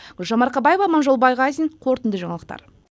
гүлжан марқабаева аманжол байғазин қорытынды жаңалықтар